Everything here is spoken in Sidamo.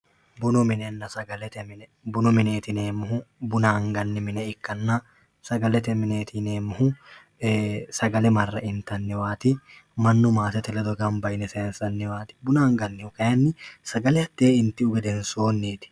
bunu minenna sagalete mine bunu mineet yineemohu buna agayi mine ikkanna sagalete mineeti yineemohu sagale marre itanniwaati mannu maatete ledo gamba yine sayiinsaniwaati buna agannihu kayiini sagale hatee intihu gedensooniiti